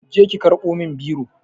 Je ki karɓo min biro